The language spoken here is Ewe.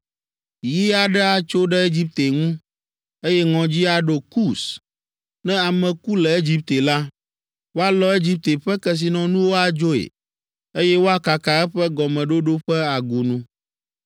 Yi aɖe atso ɖe Egipte ŋu, eye ŋɔdzi aɖo Kus. Ne ame ku le Egipte la, woalɔ Egipte ƒe kesinɔnuwo adzoe, eye woakaka eƒe gɔmeɖoɖo ƒe agunu.